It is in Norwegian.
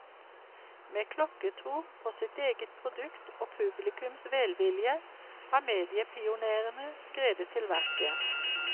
Med klokkertro på sitt eget produkt og publikums velvilje, har mediepionérene skredet til verket.